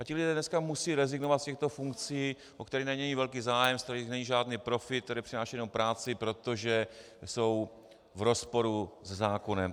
A ti lidé dneska musí rezignovat z těchto funkcí, o které není velký zájem, z kterých není žádný profit, které přinášejí jenom práci, protože jsou v rozporu se zákonem.